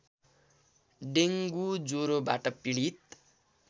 dengue ज्वरोबाट पीडित